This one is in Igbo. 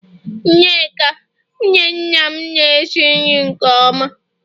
Nneka, nwunye nna m na-esi nri nke oma